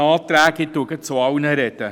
Ich spreche gleich zu allen Anträgen: